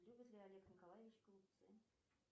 любит ли олег николаевич голубцы